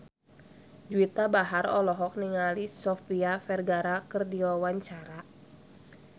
Juwita Bahar olohok ningali Sofia Vergara keur diwawancara